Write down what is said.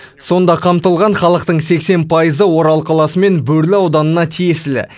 сонда қамтылған халықтың сексен пайызы орал қаласы мен бөрлі ауданына тиесілі